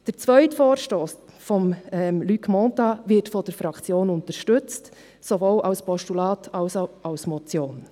Der zweite Vorstoss von Luc Mentha wird von der Fraktion unterstützt, sowohl als Postulat als auch als Motion.